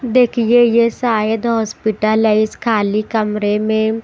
देखिए ये शायद हॉस्पिटल है इस खाली कमरे में।